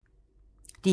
DR2